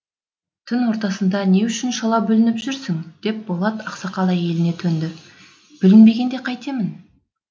түн ортасында не үшін шала бүлініп жүрсің деп болат ақсақал әйеліне төнді бүлінбегенде қайтемін